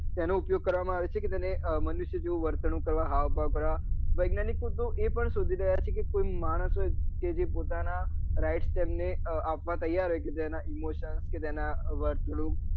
તેનો ઉપયોગ કરવા માં આવે છે કે તેને મનુષ્ય જેવું વર્તણુક કરવા હાવ ભાવ કરવા વિજ્ઞાનીકો એ પણ શોઘી રહ્યા છે તે માણસો તેજે પોતાના Right step ને આપવા તૈયાર હોય છે કે જેના emotion કે તેના વર્તણુક